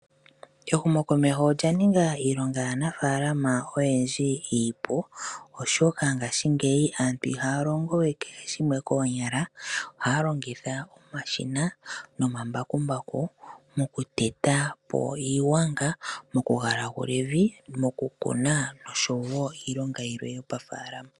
Ehumokomeho olya ning a iilonga yaanafalama oyendji iipu oshoka ihaya longo we koonyala ohaya longitha mbakumbaku mokuteta ko iigwanga mokugalagula evi mokukuna oshowo iilonga yilwe hayi longwa moofalama.